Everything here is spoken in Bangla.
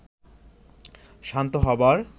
শান্ত হবার